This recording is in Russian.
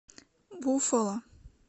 буффало